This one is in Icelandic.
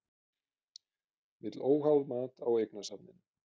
Vill óháð mat á eignasafninu